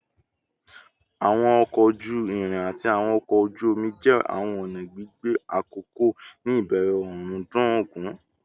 Awọn ọkọ oju-irin ati awọn ọkọ oju-omi jẹ awọn ọna gbigbe akọkọ ni ibẹrẹ ọrundun ogun